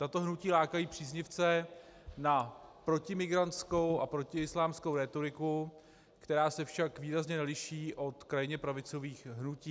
Tato hnutí lákají příznivce na protimigrantskou a protiislámskou rétoriku, která se však výrazně neliší od krajně pravicových hnutí.